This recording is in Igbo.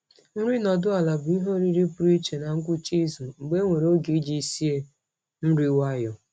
Nri nọdụ ala bụ ihe oriri pụrụ iche na ngwụcha izu mgbe enwere oge iji sie nri nwayọọ.